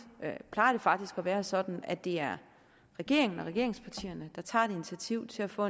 plejer det faktisk at være sådan at det er regeringen og regeringspartierne der tager et initiativ til at få